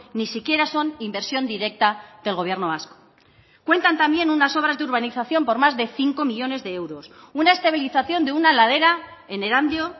ni siquiera son inversión directa del gobierno vasco cuentan también unas obras de urbanización por más de cinco millónes de euros una estabilización de una ladera en erandio